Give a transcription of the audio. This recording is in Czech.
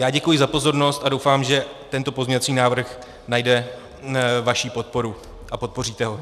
Já děkuji za pozornost a doufám, že tento pozměňovací návrh najde vaši podporu a podpoříte ho.